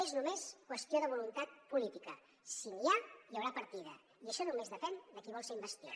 és només qüestió de voluntat política si n’hi ha hi haurà partida i això només depèn de qui vol ser investit